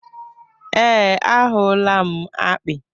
ee, ahụla m akpị.